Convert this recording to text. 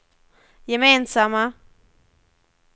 gemensamma